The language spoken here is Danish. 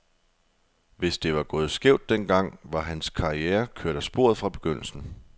Hvis det var gået skævt den gang, var hans karriere kørt af sporet fra begyndelsen.